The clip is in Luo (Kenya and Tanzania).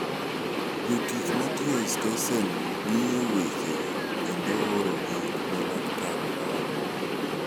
Jotich ma tiyo e stesenno ng�iyo wechego kendo oorogi ne laktar mari.